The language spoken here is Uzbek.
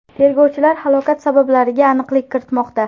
Tergovchilar halokat sabablariga aniqlik kiritmoqda.